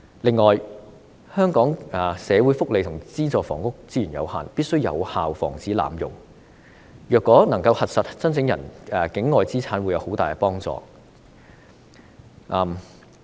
此外，香港的社會福利和資助房屋資源有限，必須有效防止濫用，如果能夠核實申請人境外資產會有很大幫助。